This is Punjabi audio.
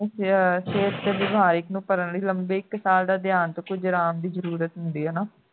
ਗੁਰਦੇ ਵਿਚ ਸਿਹਤ ਤੇ ਵਪਾਰਿਕ ਨੂੰ ਭਰਨ ਲਈ ਲਂਬੇ ਇਕ ਸਾਲ ਦਾ ਜ਼ਰੂਰਤ ਹੁੰਦੀ ਹੈ ਇਹਨੂੰ